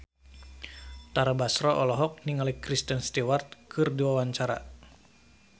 Tara Basro olohok ningali Kristen Stewart keur diwawancara